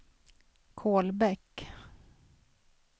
Kolbäck